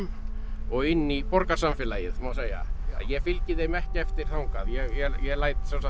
og inn í borgarsamfélagið má segja ég fylgi þeim ekki eftir þangað ég læt